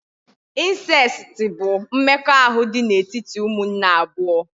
Insesiti bụ mmekọahụ dị n'etiti umunne abụọ